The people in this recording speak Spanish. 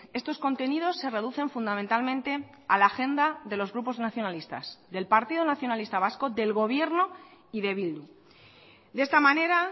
estos contenidos se reducen fundamentalmente a la agenda de los grupos nacionalistas del partido nacionalista vasco del gobierno y de bildu de esta manera